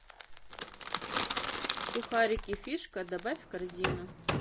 сухарики фишка добавь в корзину